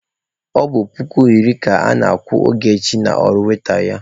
Ọ bụ puku iri ka ana-akwụ Ogechi n'ọrụ waita ya.